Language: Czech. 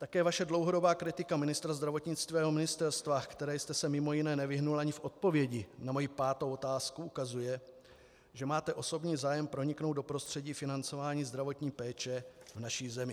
Také vaše dlouhodobá kritika ministra zdravotnictví a jeho ministerstva, které jste se mimo jiné nevyhnul ani v odpovědi na moji pátou otázku, ukazuje, že máte osobní zájem proniknout do prostředí financování zdravotní péče v naší zemi.